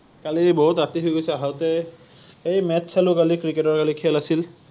কালি বহুত ৰাতি হৈ গৈছে আহোতে৷ এই match চালো কালি ক্ৰিকেটৰ কালি খেল আছিল